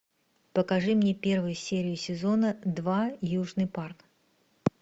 покажи мне первую серию сезона два южный парк